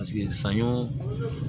Paseke saɲɔ